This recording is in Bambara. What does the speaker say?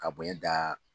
Ka bonɲɛ da